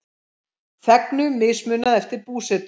Þegnum mismunað eftir búsetu